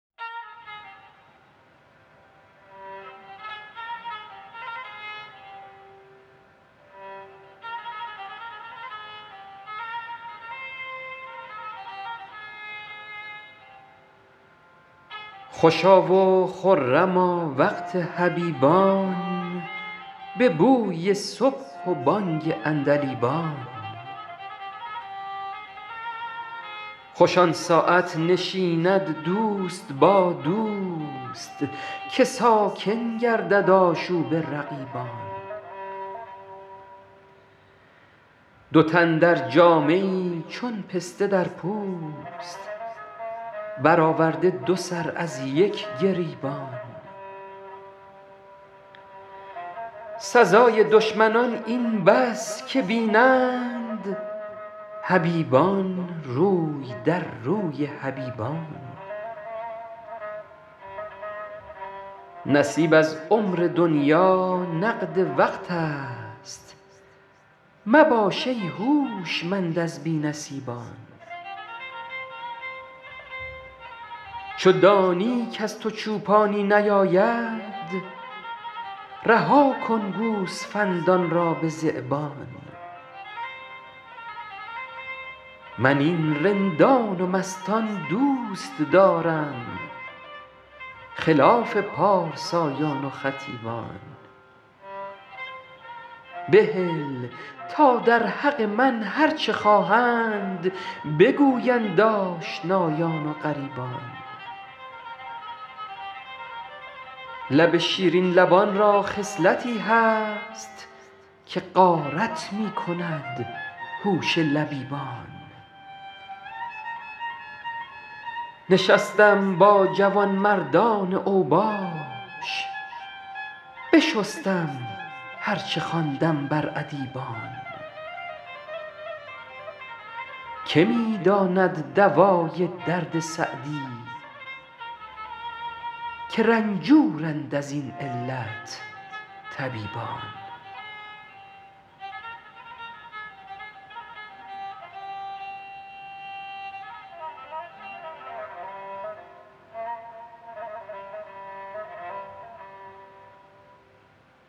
خوشا و خرما وقت حبیبان به بوی صبح و بانگ عندلیبان خوش آن ساعت نشیند دوست با دوست که ساکن گردد آشوب رقیبان دو تن در جامه ای چون پسته در پوست برآورده دو سر از یک گریبان سزای دشمنان این بس که بینند حبیبان روی در روی حبیبان نصیب از عمر دنیا نقد وقت است مباش ای هوشمند از بی نصیبان چو دانی کز تو چوپانی نیاید رها کن گوسفندان را به ذیبان من این رندان و مستان دوست دارم خلاف پارسایان و خطیبان بهل تا در حق من هر چه خواهند بگویند آشنایان و غریبان لب شیرین لبان را خصلتی هست که غارت می کند هوش لبیبان نشستم با جوانمردان اوباش بشستم هر چه خواندم بر ادیبان که می داند دوای درد سعدی که رنجورند از این علت طبیبان